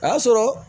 O y'a sɔrɔ